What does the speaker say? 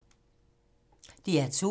DR2